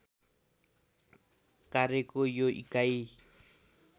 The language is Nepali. कार्यको यो इकाइ